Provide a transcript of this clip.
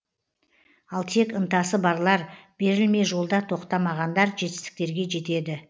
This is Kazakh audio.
ал тек ынтасы барлар берілмей жолда тоқтамағандар жетістіктерге жетеді